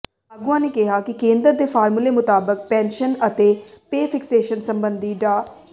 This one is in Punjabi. ਆਗੂਆਂ ਨੇ ਕਿਹਾ ਕਿ ਕੇਂਦਰ ਦੇ ਫਾਰਮੂਲੇ ਮੁਤਾਬਕ ਪੈਨਸ਼ਨ ਅਤੇ ਪੇ ਫਿਕਸੇਸ਼ਨ ਸਬੰਧੀ ਡਾ